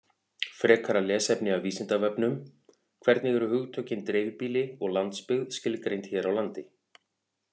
Frekara lesefni af Vísindavefnum: Hvernig eru hugtökin dreifbýli og landsbyggð skilgreind hér á landi?